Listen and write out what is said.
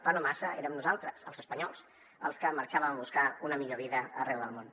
fa no massa érem nosaltres els espanyols els que marxà·vem a buscar una millor vida arreu del món